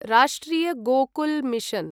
राष्ट्रिय गोकुल् मिशन्